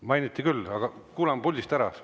Mainiti küll, aga kuulame kõne puldist ära.